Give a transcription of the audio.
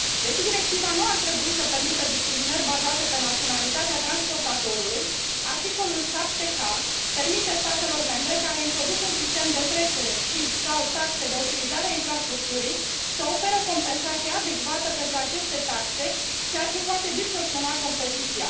Deși directiva nu ar trebui să permită discriminări bazate pe naționalitatea transportatorului, articolul 7k permite statelor membre care introduc un sistem de trecere și sau taxe de utilizare a infrastructurii să ofere o compensație adecvată pentru aceste taxe, ceea ce poate distorsiona concurența.